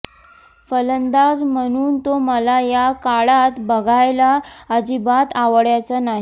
फलंदाज म्हणून तो मला या काळात बघायला अजिबात आवडायचा नाही